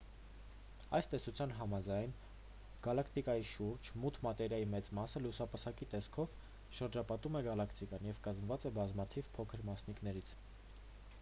այս տեսության համաձայն գալակտիկայի շուրջ մութ մատերիայի մեծ մասը լուսապսակի տեսքով շրջապատում է գալակտիկան և կազմված է բազմաթիվ փոքր մասնիկներից